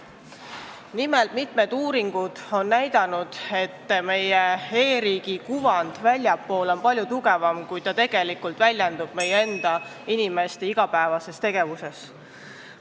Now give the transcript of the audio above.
Nimelt, mitmed uuringud on näidanud, et meie e-riigi kuvand väljapoole on palju tugevam, kui meie inimesed igapäevases tegevuses tegelikult kogevad.